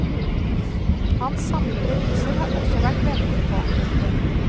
Hans samlede viser har også vært ventet på. punktum